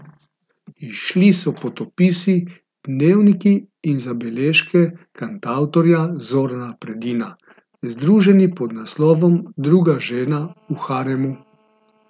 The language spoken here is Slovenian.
Izšli so potopisi, dnevniki in zabeležke kantavtorja Zorana Predina, združeni pod naslovom Druga žena v haremu.